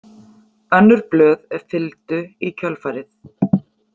Önnur blöð fylgdu í kjölfarið.